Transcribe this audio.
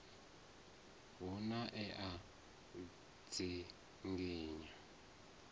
hu na e a dzinginywa